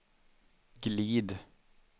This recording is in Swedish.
glid